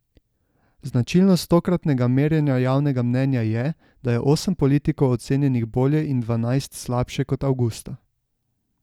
Značilnost tokratnega merjenja javnega mnenja je, da je osem politikov ocenjenih bolje in dvanajst slabše kot avgusta.